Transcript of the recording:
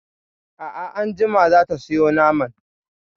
A'a anjima za ta sayo naman.